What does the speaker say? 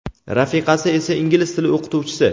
rafiqasi esa ingliz tili o‘qituvchisi.